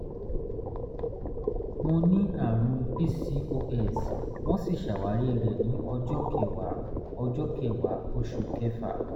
mo ní àrùn pcos wọ́n sì ṣàwárí rẹ̀ ní ọjọ́ kẹwàá ọjọ́ kẹwàá oṣù kẹfà